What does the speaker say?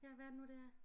Ja hvad er det nu det er